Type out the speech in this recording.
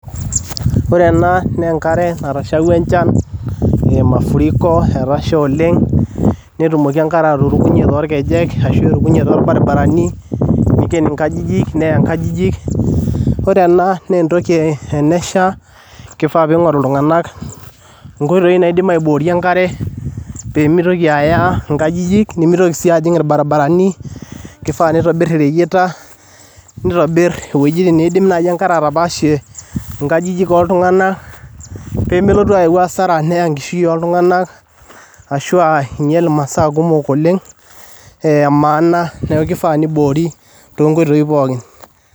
Ore ena naa enkare natashauwa enchan ee mafuriko, etasha oleng' netumoki enkare aturukunye torkejek arashu erukuye torbarbarni, niiken nkajijik, neya nkajijik. Kore ena naa entoki tenesha kifaa piing'oru iltung'anak nkoitoi naidim aiborie enkare pee mitoki aya nkajijik, nemitoki sii ajing' irbarbarani. Kifaa nitobir ireyieta, nitobir iwuejitin nai naidim enkare atapaashie nkajijk oltung'anak pee melotu ayau hasara neya enkishui oltung'anak ashu a inyal imasaa kumok oleng' e maana. Neeku kifaa niboori too nkoitoi pookin.